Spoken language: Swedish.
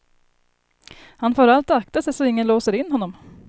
Han får allt akta sig så ingen låser in honom.